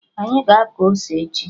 Anyị ga-akọ ose echi